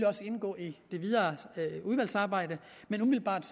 også indgå i det videre udvalgsarbejde men umiddelbart